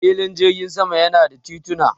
Filin jirgin sama yana da tituna.